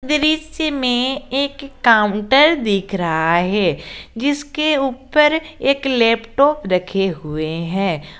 दृश्य में एक काउंटर दिख रहा है जिसके ऊपर एक लैपटॉप रखे हुए हैं।